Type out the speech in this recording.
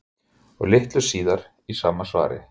Og litlu síðar í sama svari